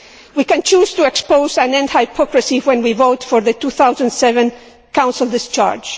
We can choose to expose and end hypocrisy when we vote for the 2007 Council discharge.